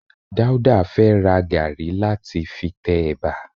Dáúdà fẹ́ ra gàrí láti fi tẹ ẹ̀bà